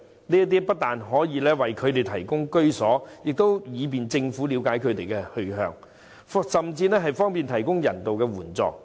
這不但可以為他們提供居所，亦便於政府了解他們的去向，甚至方便提供人道援助。